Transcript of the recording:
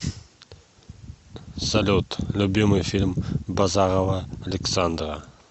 салют любимый фильм базарова александра